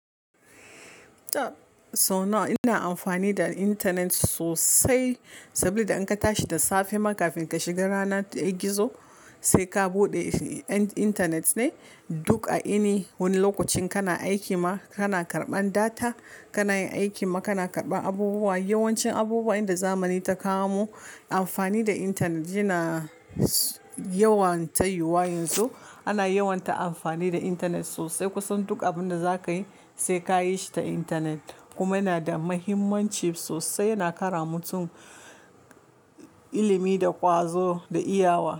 So nawa ina amfani da intanet sosai saboda in ka tashi da safe ma kafin ka shiga rana ta gizo sai ka buɗe intanet ne duk a ini wani lokacin kana aiki ma kana karɓan data kana yin aiki ma kana karɓan abubuwa. Yawancin abubuwan da zamani ta kawo mu amfani da intanet yana yawan ta yiwu yanzu ana yawan ta amfani da intanet sosai kusan duk abun da zaka yi sai ka yi shi ta intanet kuma yana da mahimmanci sosai yana kara mutum ilimi da ƙwazo da iyawa.